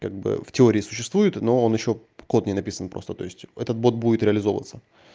как бы в теории существует но он ещё код не написан просто то есть этот бот будет реализовываться